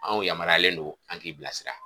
Anw yamaruyalen no an k'i bila sira.